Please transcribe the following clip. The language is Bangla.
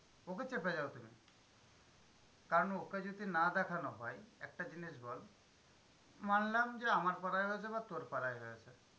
ওকে চেপে যাও তুমি। কারণ ওকে যদি না দেখানো হয়, একটা জিনিস বল মানলাম যে, আমার পাড়ায় হয়েছে বা তোর পাড়ায় হয়েছে।